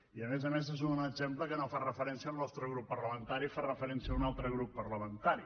i a més a més és un exemple que no fa referència al nostre grup parlamentari fa referència a un altre grup parlamentari